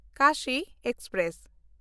Kashi express